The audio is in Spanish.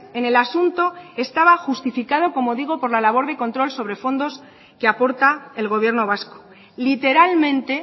en el asunto estaba justificado como digo por la labor de control sobre fondos que aporta el gobierno vasco literalmente